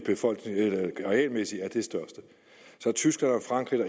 arealmæssigt er det største tyskland og frankrig er